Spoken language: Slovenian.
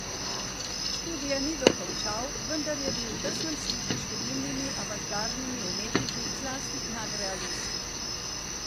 Študija ni dokončal, vendar je bil v tesnem stiku s številnimi avantgardnimi umetniki, zlasti nadrealisti.